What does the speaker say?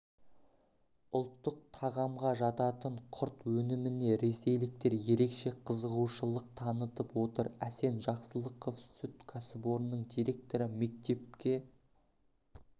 ұлттық тағамға жататын құрт өніміне ресейліктер ерекше қызығушылық танытып отыр асен жақсылықов сүт кәсіпорнының директоры мектепке